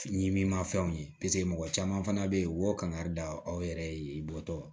Ɲimini mafɛnw ye paseke mɔgɔ caman fana be yen u b'o kangari da aw yɛrɛ ye bɔtɔ